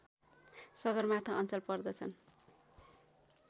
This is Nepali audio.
सगरमाथा अञ्चल पर्दछन्